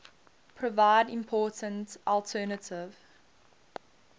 provide important alternative